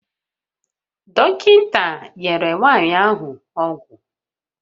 Dọkịta nyere nwanyị ahụ ọgwụ